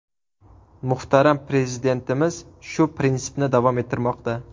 Muhtaram Prezidentimiz shu prinsipni davom ettirmoqda.